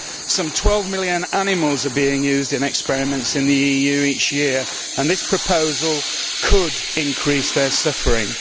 Some 12 million animals are being used in experiments in the EU each year and this proposal could increase their suffering.